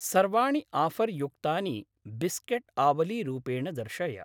सर्वाणि आफर्युक्तानि बिस्केट् आवलीरूपेण दर्शय।